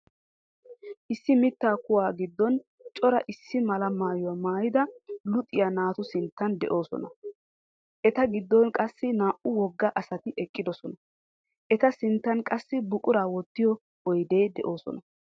Issi mittaa kuwaa giddon cora issi mala maayuwa maayida luxiyaa naatu sinttan de'oosona. Eta giddon qassi naa"u wogga asati eqqidosona. Eta sinttan qassi buquraa wottiyoo oydee de'oosona.